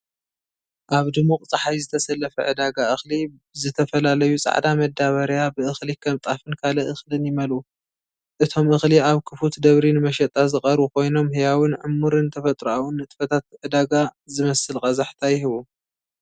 ኣብ ድሙቕ ጸሓይ ዝተሰለፈ ዕዳጋ እኽሊ፣ ዝተፈላለዩ ጻዕዳ መዳበርያ ብእኽሊ ከም ጣፍን ካልእ እኽልን ይመልኡ። እቶም እኽሊ ኣብ ክፉት ደብሪ ንመሸጣ ዝቐርቡ ኮይኖም ህያውን ዕሙርን ተፈጥሮኣውን ንጥፈታት ዕዳጋ ዝመስል ቀዛሕታ ይህቡ።